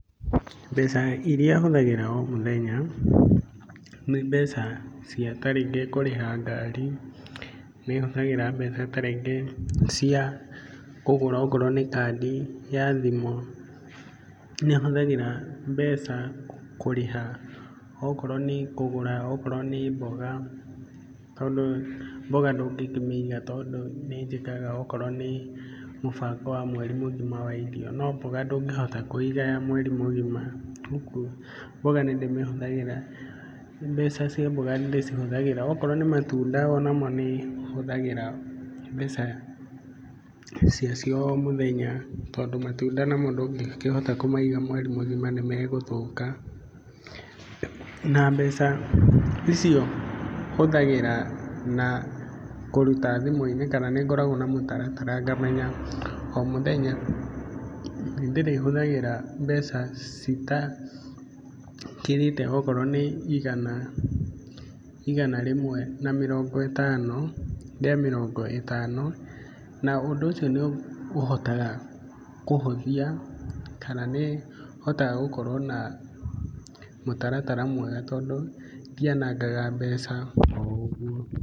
Mbeca irĩa hũthagĩra o mũthenya, nĩ mbeca cia ta rĩngĩ kũrĩha ngari. Nĩ hũthagĩra mbeca ta rĩngĩ cia kũgũra o koruo nĩ kandi ya thimũ. Nĩ hũthagĩra mbeca, kũrĩha, o korũo nĩ kũgũra, o korũo nĩ mboga tondũ mboga ndũngĩkĩmĩiga tondũ nĩnjĩkaga okorwo nĩ mũbango wa mweri mũgima wa irio, no mboga ndũngĩhota kũiga ya mweri mũgima. Ũguo mbeca cia mboga nĩ ndĩcihũthagĩra. Okorwo nĩ matunda namo nĩ hũthagĩra mbeca cia cio o mũthenya, tondũ matunda namo ndũngĩkĩhota kũmaiga mweri mũgima nĩmegũthũka. Na mbeca icio hũthagĩra na kũruta thimũ-inĩ kana nĩngoragũo na mũtaratara ngamenya, o mũthenya nĩ ndĩrĩhũthagĩra mbeca citakĩrĩte okorwo nĩ igana rĩmwe na mĩrongo ĩtano na ũndũ ũcio nĩ ũhotaga kũhũthia kana nĩhotaga gũkorwo na mũtaratara mwega tondũ ndianangaga mbeca o ũguo.